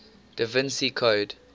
da vinci code